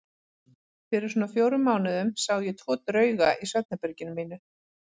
Fyrir svona fjórum mánuðum sá ég tvo drauga í svefnherberginu mínu.